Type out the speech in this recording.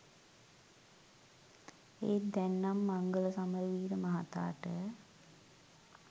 ඒත් දැන් නම් මංගල සමරවීර මහතාට